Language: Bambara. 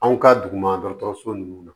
Anw ka duguma dɔgɔtɔrɔso nunnu